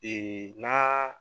na